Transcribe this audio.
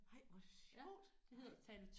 Nej hvor sjovt nej